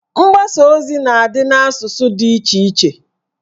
Mgbasa ozi na adị n'asụsụ dị iche iche